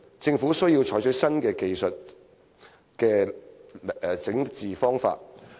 政府需要採取新的技術治理方法。